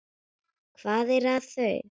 Hvað er með þau?